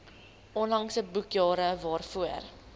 onlangse boekjare waarvoor